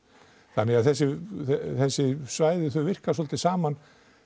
þannig að þessi þessi svæði þau virka svolítið saman